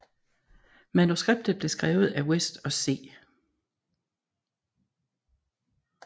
Manuskriptet blev skrevet af West og C